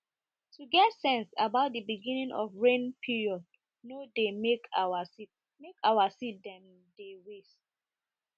to get sense about de beginning of rain period no dey make our seed make our seed dem de waste